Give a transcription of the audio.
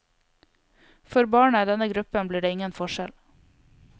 For barna i denne gruppen blir det ingen forskjell.